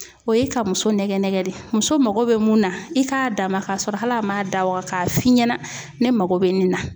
O ye ka muso nɛgɛ nɛgɛ de, muso mago bɛ mun na i k'a d'a ma k'a sɔrɔ hali a m'a da waga k'a fi ɲɛna, ne mako bɛ nin na.